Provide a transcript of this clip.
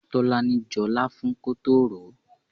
Tolani jọ láfún kótó ròó.